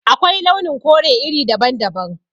Akwai launin kore iri daban-daban